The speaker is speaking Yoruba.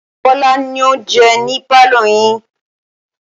Bọ́lá ló ń jẹun ní pálọ̀ yín yii